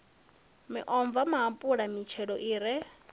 miomva maapula mitshelo i re